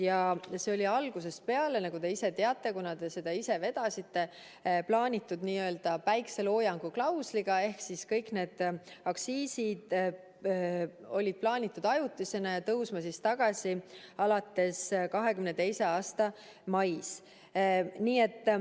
Ja nagu te ka ise teate, kuna te seda vedasite, see oli algusest peale plaanitud n-ö päikseloojangu klausliga, ehk siis kõik need aktsiisilangetused olid plaanitud ajutisena ja pidid tõusma tagasi 2022. aasta mais.